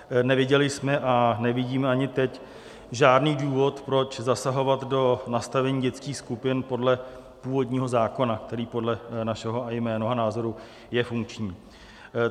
Neviděli jsme a nevidíme ani teď žádný důvod, proč zasahovat do nastavení dětských skupin podle původního zákona, který podle našeho i mého názoru je funkční.